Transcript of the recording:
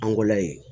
An go la yen